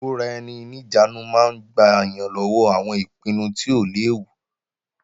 Ìkóra-ẹni-níjàánu máa ń gbà yàn lọ́wọ́ àwọn ìpinnu tí ó léwu